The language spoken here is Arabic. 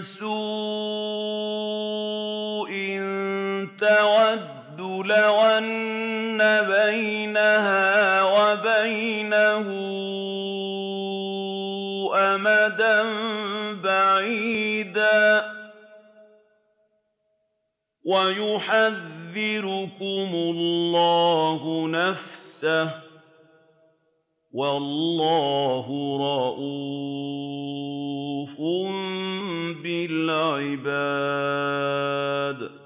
سُوءٍ تَوَدُّ لَوْ أَنَّ بَيْنَهَا وَبَيْنَهُ أَمَدًا بَعِيدًا ۗ وَيُحَذِّرُكُمُ اللَّهُ نَفْسَهُ ۗ وَاللَّهُ رَءُوفٌ بِالْعِبَادِ